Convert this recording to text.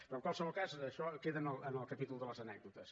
però en qualsevol cas això queda en el capítol de les anècdotes